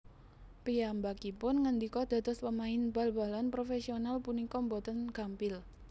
Piyambakipun ngendika Dados pemain bal balan profèsional punika boten gampil